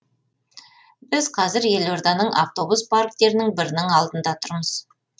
біз қазір елорданың автобус парктерінің бірінің алдында тұрмыз